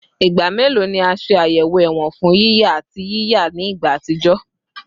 Igba melo ni a ṣe ayẹwo ẹwọn fun yiya ati yiya ni igba atijọ?